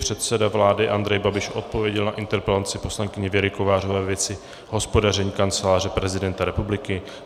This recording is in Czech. Předseda vlády Andrej Babiš odpověděl na interpelaci poslankyně Věry Kovářové ve věci hospodaření Kanceláře prezidenta republiky.